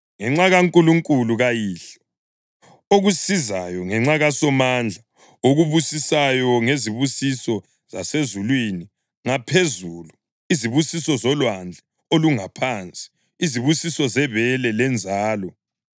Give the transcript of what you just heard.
ngenxa kaNkulunkulu kayihlo, okusizayo, ngenxa kaSomandla okubusisayo ngezibusiso zasezulwini ngaphezulu, izibusiso zolwandle olungaphansi, izibusiso zebele lenzalo.